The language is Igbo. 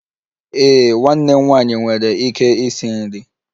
Ee, nwanne m nwanyị nwere ike isi nri